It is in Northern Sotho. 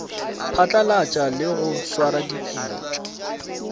phatlalatša le go swara dipitšo